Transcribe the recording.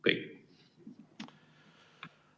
Kõik!